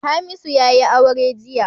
Hamisu ya yi aure jiya